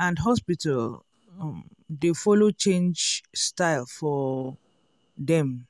and hospital um dey follow change style for um dem.